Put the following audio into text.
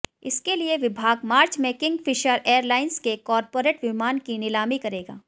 इसके लिए विभाग मार्च में किंगफिशर एयरलाइंस के कॉर्पोरेट विमान की नीलामी करेगा